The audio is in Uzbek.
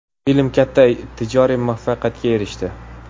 Film katta tijoriy muvaffaqiyatga erishdi.